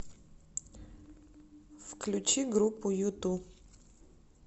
включи группу юту